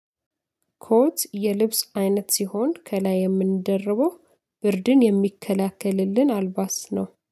ኮት የልብስ አይነት ሲሆን ከላይ የምንደርበው ብርድን የሚከላከልልን አልባስ ነው